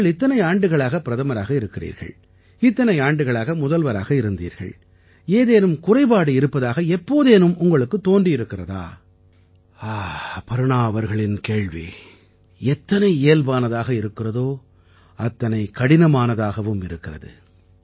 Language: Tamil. நீங்கள் இத்தனை ஆண்டுகளாக பிரதமராக இருக்கிறீர்கள் இத்தனை ஆண்டுகளாக முதல்வராக இருந்தீர்கள் ஏதேனும் குறைபாடு இருப்பதாக எப்போதேனும் உங்களுக்குத் தோன்றியிருக்கிறதா அபர்ணா அவர்களின் கேள்வி எத்தனை இயல்பானதாக இருக்கிறதோ அத்தனை கடினமானதாகவும் இருக்கிறது